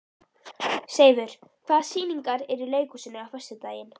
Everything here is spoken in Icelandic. Seifur, hvaða sýningar eru í leikhúsinu á föstudaginn?